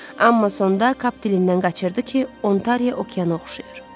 Amma sonda Kap dilindən qaçırdı ki, Ontariya okeana oxşayır.